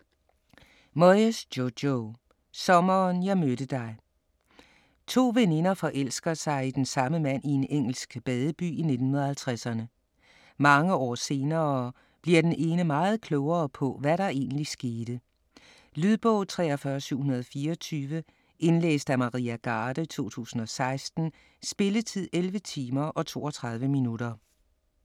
Moyes, Jojo: Sommeren jeg mødte dig To veninder forelsker sig i den samme mand i en engelsk badeby i 1950'erne. Mange år senere bliver den ene meget klogere på, hvad der egentlig skete. Lydbog 43724 Indlæst af Maria Garde, 2016. Spilletid: 11 timer, 32 minutter.